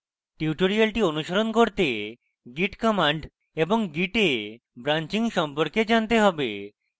tutorial অনুসরণ করতে git commands এবং git এ branching সম্পর্কে জানতে have